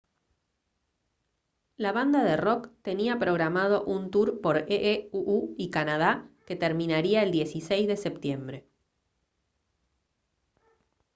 la banda de rock tenía programado un tour por ee uu y canadá que terminaría el 16 de septiembre